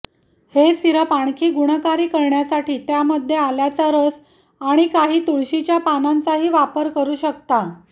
हे सिरप आणखी गुणकारी करण्यासाठी त्यामध्ये आल्याचा रस आणि काही तुळशीच्या पानांचाही वापर करू शकता